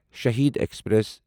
Shaheed express